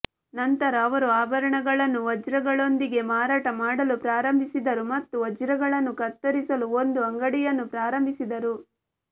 ನಂತರ ಅವರು ಆಭರಣಗಳನ್ನು ವಜ್ರಗಳೊಂದಿಗೆ ಮಾರಾಟ ಮಾಡಲು ಪ್ರಾರಂಭಿಸಿದರು ಮತ್ತು ವಜ್ರಗಳನ್ನು ಕತ್ತರಿಸಲು ಒಂದು ಅಂಗಡಿಯನ್ನು ಪ್ರಾರಂಭಿಸಿದರು